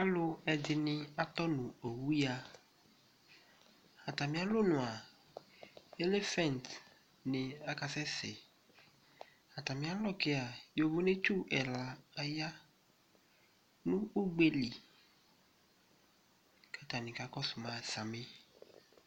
Alʋ ɛdini atɔ nʋ owu ya Atami alɔnue a elephant ni aɛsɛ, stami alɔ ke a yovonetsu ɛla aya nʋ ugbeli k'atani k'akɔsu ma sami